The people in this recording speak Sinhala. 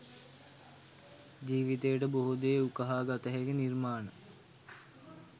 ජීවිතයට බොහෝ දේ උකහා ගතහැකි නිර්මාණ.